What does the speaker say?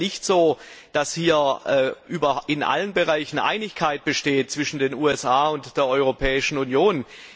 Denn es ist ja nicht so, dass in allen Bereichen Einigkeit besteht zwischen den USA und der Europäischen Union.